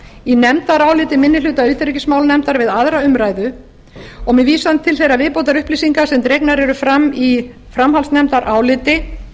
í nefndaráliti minni hluta utanríkismálanefndar við aðra umræðu og með vísan til þeirra viðbótarupplýsinga sem dregnar eru fram í framhaldsnefndaráliti